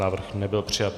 Návrh nebyl přijat.